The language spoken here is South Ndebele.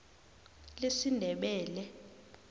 lesindebele